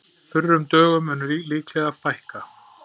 Þurrum dögum mun líklega fækka